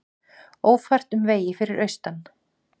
Ófært um vegi fyrir vestan